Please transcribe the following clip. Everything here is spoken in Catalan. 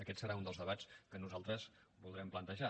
aquest serà un dels debats que nosaltres voldrem plantejar